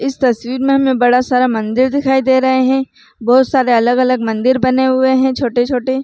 इस तस्वीर में हमे बड़ा सारा मंदिर दिखाई दे रहे है बहुत सारे अलग-अलग मंदिर बने हुए है छोटे- छोटे --